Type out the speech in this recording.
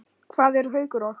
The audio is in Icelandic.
Hvað eru Haukur og